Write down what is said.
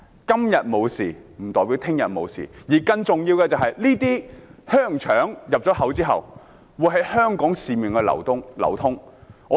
今天沒有事不代表明天也會沒有事，而更重要的是，進口香港的香腸之後會在市面流通。